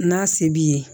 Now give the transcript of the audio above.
N'a se b'i ye